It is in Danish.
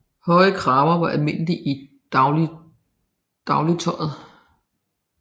Høje kraver var almindelige i dagligtøjet